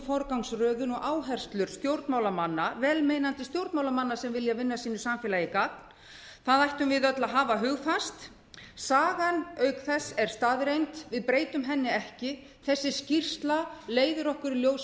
forgangsröðun og áherslur vel meinandi stjórnmálamanna sem vilja sínu samfélagi gagn það ættum við öll að haga hugfast sagan er auk þess staðreynd við breytum henni ekki þessi skýrsla leiðir okkur í ljós